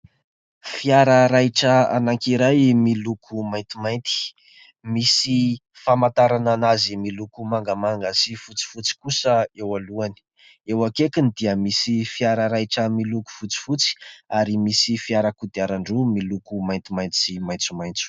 Fiara raitra anankiray miloko maintimainty, misy famantarana azy miloko mangamanga sy fotsifotsy kosa eo alohany ; eo akaikiny dia misy fiara raitra miloko fotsifotsy ary misy fiara kodiaran-droa miloko maintimainty sy maitsomaitso.